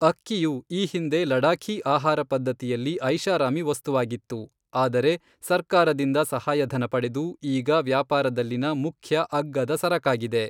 ಅಕ್ಕಿಯು ಈ ಹಿಂದೆ ಲಡಾಖಿ ಆಹಾರ ಪದ್ಧತಿಯಲ್ಲಿ ಐಷಾರಾಮಿ ವಸ್ತುವಾಗಿತ್ತು, ಆದರೆ, ಸರ್ಕಾರದಿಂದ ಸಹಾಯಧನ ಪಡೆದು, ಈಗ ವ್ಯಾಪಾರದಲ್ಲಿನ ಮುಖ್ಯ ಅಗ್ಗದ ಸರಕಾಗಿದೆ.